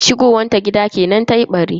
Shigowan ta gida kenan tayi ɓari.